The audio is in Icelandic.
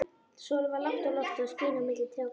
Sólin var lágt á lofti og skein á milli trjágreinanna.